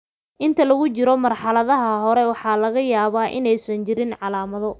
Inta lagu jiro marxaladaha hore ee leukemia, waxaa laga yaabaa inaysan jirin calaamado.